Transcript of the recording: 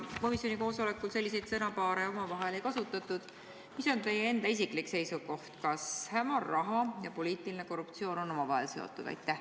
Ja kui komisjoni koosolekul selliseid sõnapaare ei kasutatud, siis mis on teie enda isiklik seisukoht, kas hämar raha ja poliitiline korruptsioon on omavahel seotud?